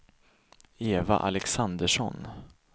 Eva Alexandersson